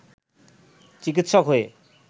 চিকিৎসক হয়ে